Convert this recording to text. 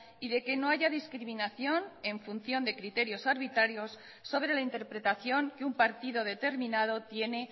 y de que no haya discriminación en función de criterios arbitrarios sobre la interpretación que un partido determinado tiene